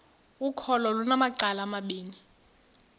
ukholo lunamacala amabini